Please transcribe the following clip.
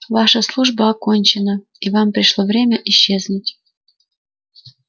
ваша служба окончена и вам пришло время исчезнуть